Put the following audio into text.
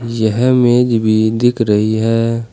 यहां मेज भी दिख रही है।